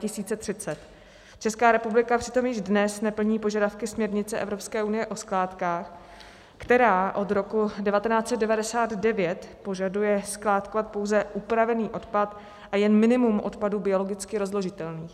Česká republika přitom již dnes neplní požadavky směrnice Evropské unie o skládkách, která od roku 1999 požaduje skládkovat pouze upravený odpad a jen minimum odpadu biologicky rozložitelného.